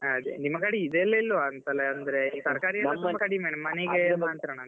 ಅದೇ ನಿಮ್ ಕಡೆ ಇದೆಲ್ಲ ಇಲ್ವಾ ಅಂತಲ್ಲ ಅಂದ್ರೆ ತರ್ಕಾರಿ ಎಲ್ಲ ಕಡಿಮೆ ಮನೆಗೆ ಮಾತ್ರಾನಂತ .